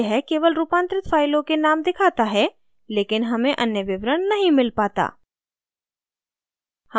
यह केवल रूपांतरित फाइलों के names दिखाता है लेकिन हमें any विवरण नहीं मिल पाता